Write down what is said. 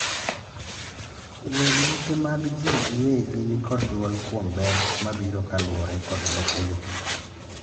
weg lope mag jii giwegi nikod duol kuom ber mabiro kaluwore kodlopego